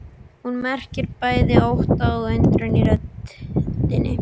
Hún merkir bæði ótta og undrun í röddinni.